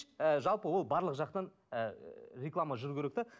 ы жалпы ол барлық жақтан ы реклама жүруі керек те